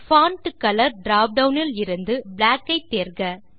font colour drop down இலிருந்து black ஐ தேர்க